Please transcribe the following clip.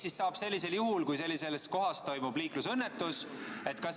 Mis saab sellisel juhul, kui sellises kohas toimub liiklusõnnetus?